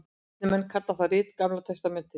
Kristnir menn kalla það rit Gamla testamentið.